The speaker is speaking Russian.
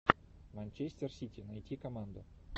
манчестер сити найти команду